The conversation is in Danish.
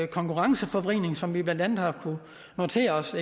konkurrenceforvridning som vi blandt andet har kunnet notere os